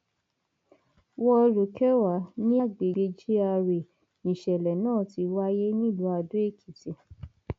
wọọlù kẹwà ní agbègbè gra níṣẹlẹ náà ti wáyé nílùú adoekìtì